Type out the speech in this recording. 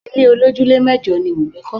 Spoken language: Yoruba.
Ilé olojule mẹ́jọ ni Wumi kọ́